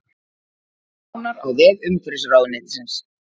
Nánar á vef umhverfisráðuneytisins